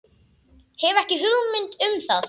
Hef ekki hugmynd um það.